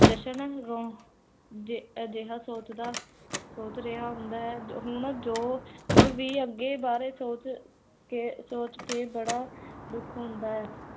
ਯਸ਼ਨ ਰੋ ਅਜੇਹਾ ਸੋਚਦਾ, ਸੋਚ ਰਿਹਾ ਹੁੰਦਾ ਹੈ, ਹੁਣ ਜੋ, ਹੁਣ ਵੀ ਅੱਗੇ ਬਾਰੇ ਸੋਚ ਕੇ, ਸੋਚ ਕੇ, ਬੜਾ ਦੁਖ ਹੁੰਦਾ ਹੈ l